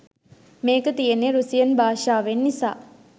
මේක තියෙන්නේ රුසියන් භාෂාවෙන් නිසා